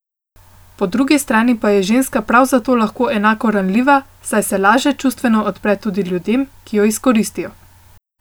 Po drugi strani pa je ženska prav zato lahko enako ranljiva, saj se laže čustveno odpre tudi ljudem, ki jo izkoristijo.